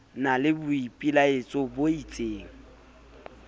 na le boipelaetso bo isteng